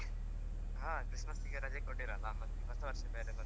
ಹಾ Christmas ಗೆ ರಜೆ ಕೊಟ್ಟಿರಲ್ಲ ಹೊಸ ವರ್ಷ ಬೇರೆ ಬಂತಲ್ಲ.